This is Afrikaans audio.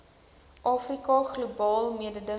afrika globaal mededingend